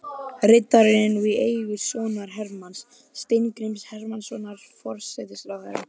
Riddarinn er nú í eigu sonar Hermanns, Steingríms Hermannssonar forsætisráðherra.